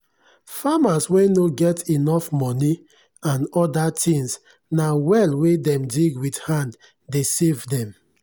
farmers wen nor get enough money and other things na well wen dem dig with hand dey save dem.